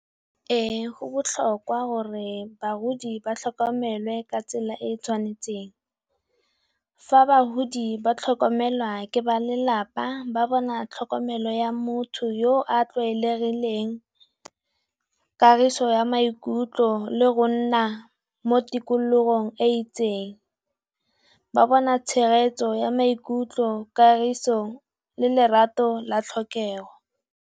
Ee go botlhokwa gore bagodi ba tlhokomele ka tsela e e tshwanetseng. Fa bagodi ba tlhokomelwa ke ba lelapa ba bona tlhokomelo ya motho yo a tlwaelegileng, kagiso ya maikutlo le go nna mo tikologong e itseng. Ba bona tshegetso ya maikutlo kagiso le lerato la tlhokego.